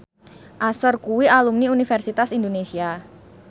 Usher kuwi alumni Universitas Indonesia